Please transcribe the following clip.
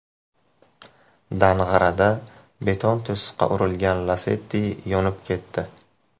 Dang‘arada beton to‘siqqa urilgan Lacetti yonib ketdi.